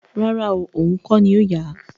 Rárá oo, ohùn kọ́ ni ó yà á